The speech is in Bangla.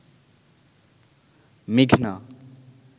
মেঘনা